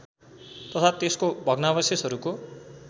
तथा त्यसको भग्नावशेषहरूको